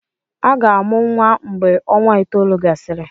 Aga-amụ nwa mgve ọnwa itoolu gasịrị.